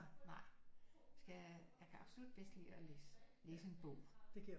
Nej skal jeg kan absolut bedst lide at læse læse en bog